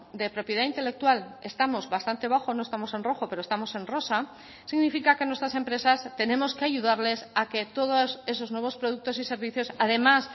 de propiedad intelectual estamos bastante bajo no estamos en rojo pero estamos en rosa significa que nuestras empresas tenemos que ayudarles a que todos esos nuevos productos y servicios además